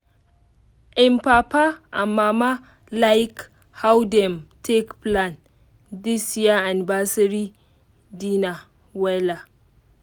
im papa and mama like how dem take plan this year anniversary dinner wella